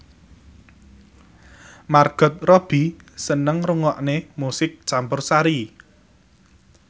Margot Robbie seneng ngrungokne musik campursari